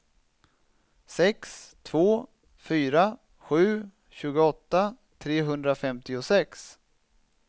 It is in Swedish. sex två fyra sju tjugoåtta trehundrafemtiosex